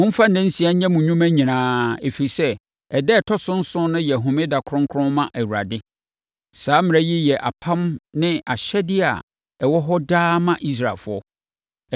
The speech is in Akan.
Momfa nna nsia nyɛ mo nnwuma nyinaa, ɛfiri sɛ, ɛda a ɛtɔ so nson no yɛ homeda kronkron ma Awurade. Saa mmara yi yɛ apam ne ahyɛdeɛ a ɛwɔ hɔ daa ma Israelfoɔ.